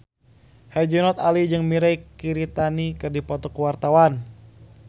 Herjunot Ali jeung Mirei Kiritani keur dipoto ku wartawan